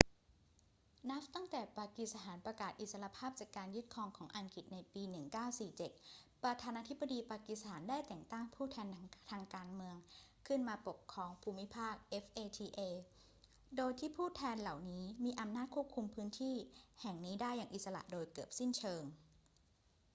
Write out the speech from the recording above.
นับตั้งแต่ปากีสถานประกาศอิสรภาพจากการยึดครองของอังกฤษในปี 1947 ประธานาธิบดีปากีสถานได้แต่งตั้ง ผู้แทนทางการเมือง ขึ้นมาปกครองภูมิภาค fata โดยที่ผู้แทนเหล่านี้มีอำนาจควบคุมพื้นที่แห่งนี้ได้อย่างอิสระโดยเกือบสิ้นเชิง